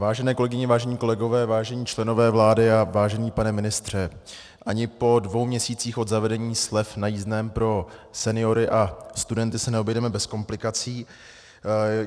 Vážené kolegyně, vážení kolegové, vážení členové vlády a vážený pane ministře, ani po dvou měsících od zavedení slev na jízdném pro seniory a studenty se neobejdeme bez komplikací.